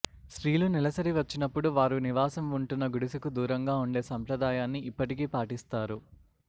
స్త్రీలు నెలసరి వచ్చినపుడు వారు నివాసం ఉంటున్న గుడిసెకు దూరంగా ఉండే సంప్రదాయాన్ని ఇప్పటికీ పాటిస్తారు